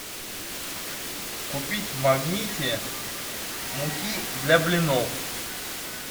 купить в магните муки для блинов